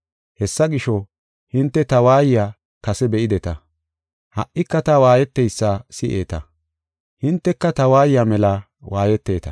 Hessa gisho, hinte ta waayiya kase be7ideta; ha77ika ta waayeteysa si7eeta. Hinteka ta waayiya mela waayeteta.